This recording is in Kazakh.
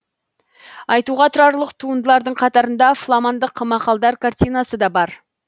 айтуға тұрарлық туындылардың қатарында фламандық мақалдар картинасы да бар